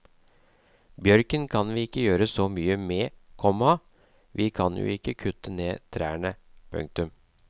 Bjørken kan vi ikke gjøre så mye med, komma vi kan jo ikke kutte ned trærne. punktum